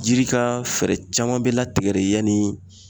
Jiri ka fɛɛrɛ caman be latigɛ de yani